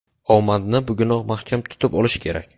Omadni bugunoq mahkam tutib olish kerak.